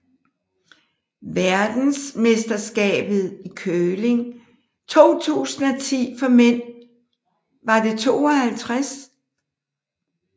Verdensmesterskabet i curling 2010 for mænd var det 52